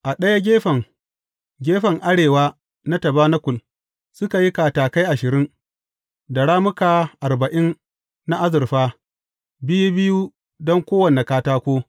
A ɗaya gefen, gefen arewa na tabanakul, suka yi katakai ashirin da rammuka arba’in na azurfa, biyu biyu don kowane katako.